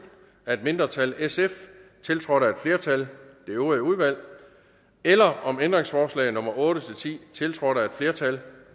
af et mindretal tiltrådt af et flertal eller om ændringsforslag nummer otte ti tiltrådt af et flertal